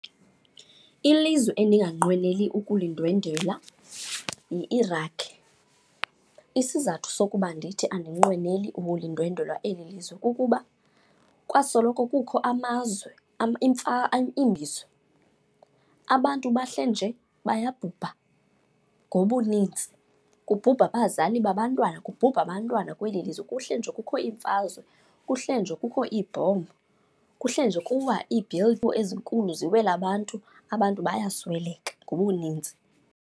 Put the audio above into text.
Ilizwe endinganqweneli ukulindwendwela yiIraq. Isizathu sokuba ndithi andinqweneli ukulindwendwela eli lizwe kukuba kwasoloko kukho amazwe . Abantu bahleli nje bayabhubha ngobuninzi, kubhubha abazali babantwana, kubhubha abantwana kweli lizwe. Kuhleli nje kukho iimfazwe, kuhleli nje kukho iibhombu, kuhleli nje kuwa ezinkulu ziwele abantu, abantu bayasweleka ngobuninzi.